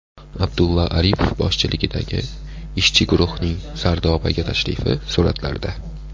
Abdulla Aripov boshchiligidagi ishchi guruhning Sardobaga tashrifi suratlarda.